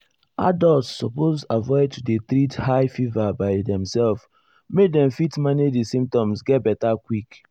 adults suppose avoid to dey treat high fever by demself make dem fit manage di symptoms get beta quick.